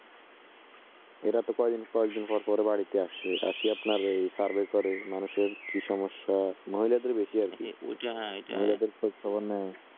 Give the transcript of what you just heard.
এরাতো কয়েক দিন পর পর বাড়িতে আসে, আসে আপনার ঐ survey করে মানুষের কি সমস্যা? মহিলাদের বেশি আর কি মহিলাদের খোঁজ খবর নেয়